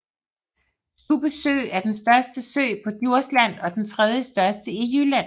Stubbe Sø er den største sø på Djursland og den tredjestørste i Jylland